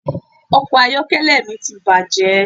Ọkọ̀ ayọ́kẹ́lẹ́ mi ti bàjé